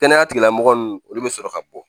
Kɛnɛya tigila mɔgɔ nunnu olu bɛ sɔrɔ ka bɔ